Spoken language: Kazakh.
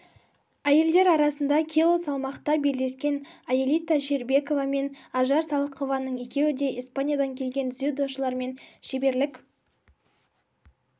әйелдер арасында кило салмақта белдескен аэлита щербакова мен ажар салықованың екеуі де испаниядан келген дзюдошылармен шеберлік